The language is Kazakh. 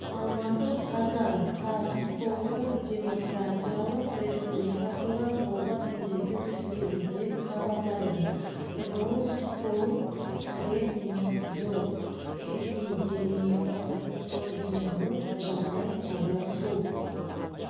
алматы қазан қаз конго демократиялық республикасында оба індеті тіркелді деп хабарлайды роспотребнадзор эпидемиологиялық жағдай таза су